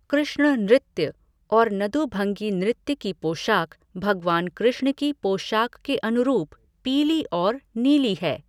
कृष्ण नृत्य और नदुभंगी नृत्य की पोशाक भगवान कृष्ण की पोशाक के अनुरूप पीली और नीली है।